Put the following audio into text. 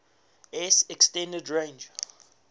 s extended range